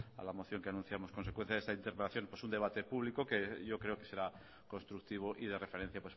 a la moción que anunciamos en consecuencia de esta interpelación pues un debate público que yo creo que será constructivo y de referencia